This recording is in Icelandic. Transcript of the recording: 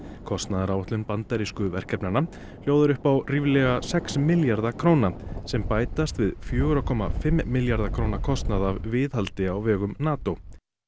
kostnaðaráætlun bandarísku verkefnanna hljóðar upp á ríflega sex milljarða króna sem bætast við fjögurra komma fimm milljarða króna kostnað af viðhaldi á vegum NATO